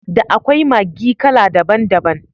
Da akwai Maggi kala daban daban.